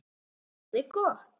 Og það er gott.